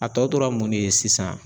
A tɔ tora mun de ye sisan